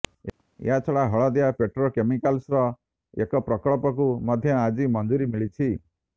ଏହାଛଡ଼ା ହଳଦିଆ ପେଟ୍ରୋକେମିକାଲ୍ସର ଏକ ପ୍ରକଳ୍ପକୁ ମଧ୍ୟ ଆଜି ମଞ୍ଜୁରୀ ମିଳିଛି